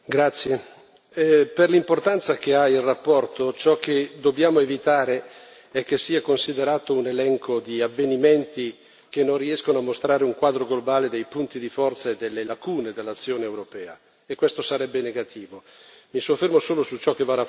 Signora Presidente, onorevoli colleghi, per l'importanza che ha la relazione, ciò che dobbiamo evitare è che sia considerato un elenco di avvenimenti che non riescono a mostrare un quadro globale dei punti di forza e delle lacune dell'azione europea.